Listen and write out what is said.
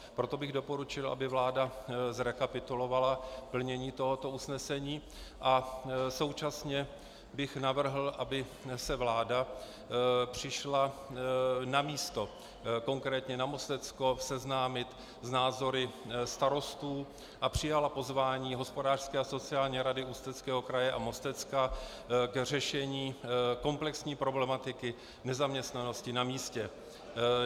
Proto bych doporučil, aby vláda zrekapitulovala plnění tohoto usnesení, a současně bych navrhl, aby se vláda přišla na místo, konkrétně na Mostecko, seznámit s názory starostů a přijala pozvání Hospodářské a sociální rady Ústeckého kraje a Mostecka k řešení komplexní problematiky nezaměstnanosti na místě.